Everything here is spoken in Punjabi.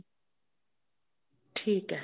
ਠੀਕ ਐ